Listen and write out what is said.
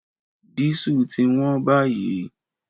Dísù ti wón báyìí